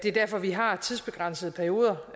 er derfor vi har tidsbegrænsede perioder